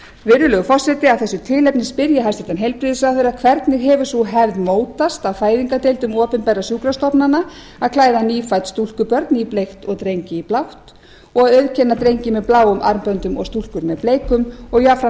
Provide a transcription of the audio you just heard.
virðulegur forseti af þessu tilefni spyr ég hæstvirtan heilbrigðisráðherra fyrstu hvernig hefur sú hefð mótast á fæðingardeildum opinberra sjúkrastofnana að klæða nýfædd stúlkubörn í bleikt en drengi í blátt og auðkenna drengi með bláum armböndum og stúlkur með bleikum jafnframt